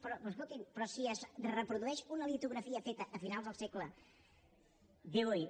però escoltin si es reprodueix una litografia feta a finals del segle xviii